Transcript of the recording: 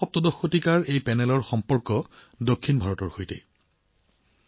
১৬১৭ শতিকাৰ এই পেনেলটো দক্ষিণ ভাৰতৰ সৈতে জড়িত